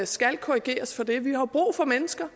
skal korrigeres for det vi har jo brug for mennesker